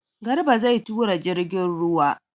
Garba zai tura jirgin ruwa.